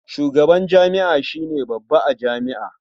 Shugaban jami'a shi ne babba a jami'a.